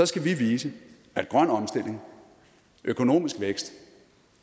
skal vi vise at grøn omstilling økonomisk vækst